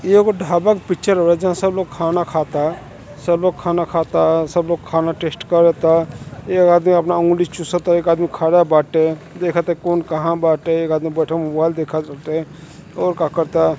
ई एगो ढाबा का पिक्चर हवे जहाँ सब लोग खाना खाता सब लोग खाना खाता। सब लोग खाना टेस्ट करता। एक आदमी अपना अँगुली चुसता एक आदमी खड़ा बाटे देखत ह कउन कहाँ बाटे। एक आदमी बईठल मोबाईल देखाताटे और का करता।